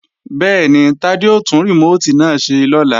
Bẹ́ẹ̀ni, Tádé ó tún rìmóòtì náà ṣe lọ́la